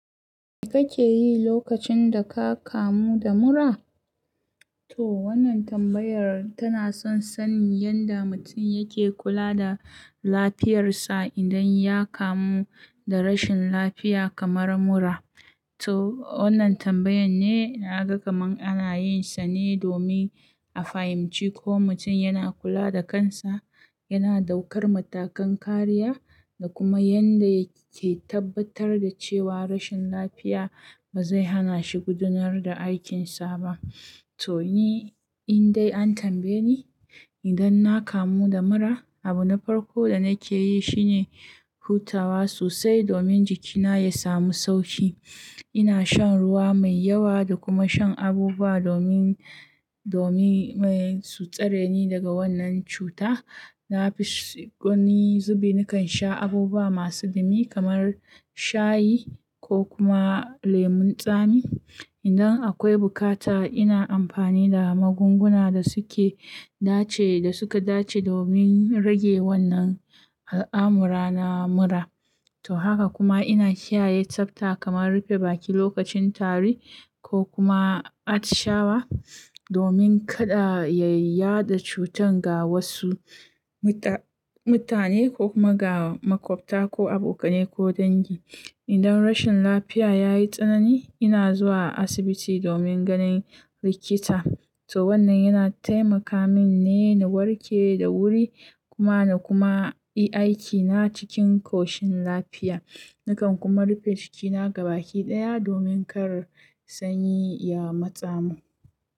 Me kake yi lokacin da ka kamu da mura? To wannan tambayar tana son sanin yadda mutum yake kula da lafiyarsa idan ya kamu da rashin lafiya kamar mura. To wannan tambayan ne na ga kamar ana yin sa ne domin a fahimci ko mutum yana kula da kansa, yana daukar matakan kariya da kuma yadda yake tabbatar da cewa rashin lafiya ba zai hana shi gudanar da aikinsa ba. To ni in dai an tambaye ni idan na kamu da mura, abu na farko da nake yi shine hutawa sosai domin jikina ya samu sauƙi. Ina shan ruwa mai yawa da kuma shan abubuwa domin, domin su tsare ni daga wannan cuta. Na fis, gani zube nakan sha abubuwa masu dumi kamar shayi ko kuma lemon tsami. Idan akwai bukata ina amfani da magunguna da suke dace da suka dace domin rage wannan al'amura na mura. To haka kuma ina kiyaye tsafta kamar rufe baki lokacin tari ko kuma atshawa domin kada yayi yaɗa cutan ga wasu muta-mutane ko kuma ga makwabta ko abokanai ko dangi. Idan rashin lafiya ya yi tsanani ina zuwa asibiti domin ganin likita. To wannan yana taimaka min ne na warke da wuri kuma na kuma yi aikina cikin ƙoshin lafiya. Nakan kuma rufe jikina gabaɗaya domin kar sanyi ya matsa mun.